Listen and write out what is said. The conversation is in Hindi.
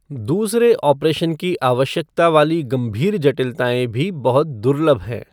दूसरे ऑपरेशन की आवश्यकता वाली गंभीर जटिलताएँ भी बहुत दुर्लभ हैं।